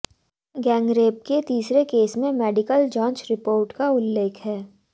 gangrape के तीसरे case में मेडिकल जांच रिपोर्ट का उल्लेख है